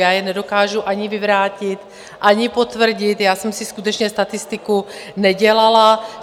Já je nedokážu ani vyvrátit, ani potvrdit, já jsem si skutečně statistiku nedělala.